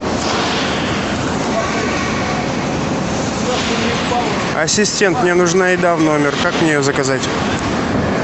ассистент мне нужна еда в номер как мне ее заказать